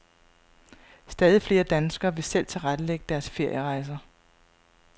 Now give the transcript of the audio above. Stadig flere danskere vil selv tilrettelægge deres ferierejser.